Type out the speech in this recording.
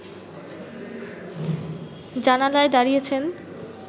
জানালায় দাঁড়িয়েছেন